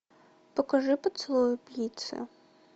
покажи поцелуй убийцы